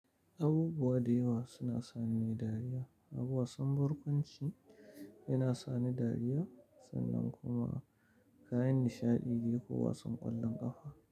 Abubuwa da yawa suna sani dariya, abubuwan son barkwanci yana sani dariya sannan kuma kayan nishaɗi ne ko wasan ƙwallon ƙafa.